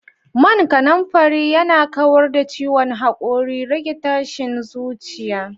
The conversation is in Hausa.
Man kananfari yana kawar da ciwon hakori, rage tashin zuciya